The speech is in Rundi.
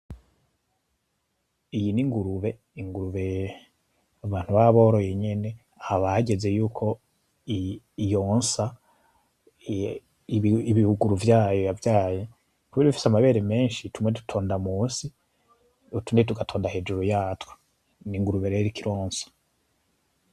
Iyi ni ingurube, ingurube abantu baba boroye nyene, haba hageze yuko yonsa ibibuguru vyayo yavyaye. Kubera ifise amabere menshi, tumwe dutonda munsi utundi tugatonda hejuru yatwo. Ni ingurube rero iriko ironsa.